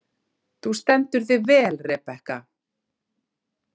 Þú stendur þig vel, Rebekka!